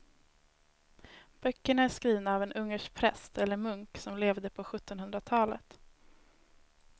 Böckerna är skrivna av en ungersk präst eller munk som levde på sjuttonhundratalet.